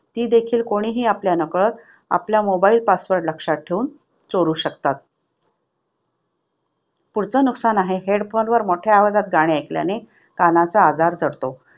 ती देखील कोणीही आपल्या नकळत आपल्या mobile password लक्षात ठेवून चोरू शकतात. Headphone वर मोठ्या आवाजात गाणे ऐकल्याने कानाचा आजार जडतो.